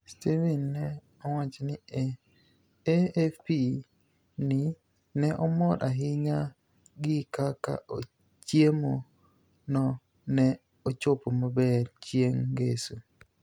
Steveni ni e owacho ni e AFP nii ni e omor ahiniya gi kaka chiemo no ni e ochopo maber chienig' nigeso.